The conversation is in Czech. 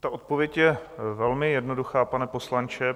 Ta odpověď je velmi jednoduchá, pane poslanče.